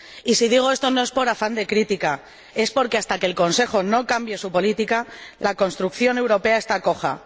Y si digo esto no es por afán de crítica, es porque, mientras el Consejo no cambie su política, la construcción europea estará coja.